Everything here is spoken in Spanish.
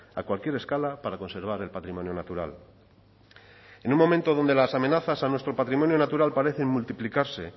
a cualquier escala para conservar el patrimonio natural en un momento donde las amenazas a nuestro patrimonio natural parecen multiplicarse